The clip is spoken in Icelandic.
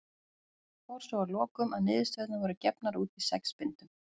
Fór svo að lokum að niðurstöðurnar voru gefnar út í sex bindum.